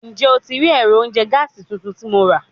Njẹ o ti rii ẹrọ ounjẹ gaasi tuntun ti Mo ra?